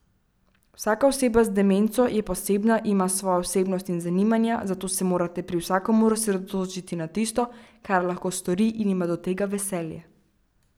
Vsaka oseba z demenco je posebna, ima svojo osebnost in zanimanja, zato se morate pri vsakomur osredotočiti na tisto, kar lahko stori in ima do tega veselje.